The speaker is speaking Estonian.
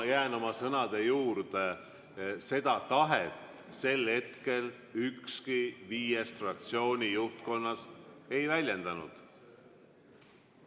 Ma jään oma sõnade juurde: seda tahet sel hetkel ükski viiest fraktsiooni juhtkonnast ei väljendanud.